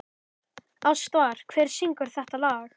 Ástvar, hver syngur þetta lag?